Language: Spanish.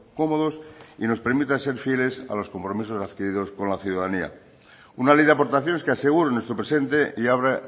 cómodos y nos permita ser fieles a los compromisos adquiridos por la ciudadanía una ley de aportaciones que asegure nuestro presente y abra